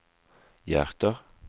hjärter